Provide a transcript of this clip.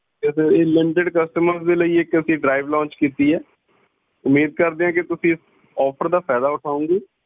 ਇਹ limited customers ਦੇ ਲਈ ਇੱਕ drive launch ਕੀਤੀ ਹੈ ਉਮੀਦ ਕਰਦੇ ਹਾਂ ਕਿ ਤੁਸੀਂ ਇਸ offer ਦਾ ਫਾਇਦਾ ਉਠਾਓਂਗੇ।